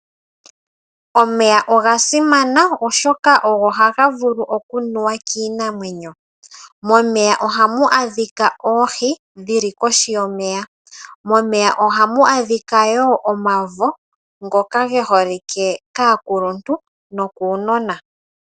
Omeya oga simana oshoka ogo haga vulu okunuwa kiinamwenyo. Momeya ohamu adhika oohi dhili kohi yomeya momeya ohamu adhika woo omavo ngoka geholike kaakuluntu nokaanona.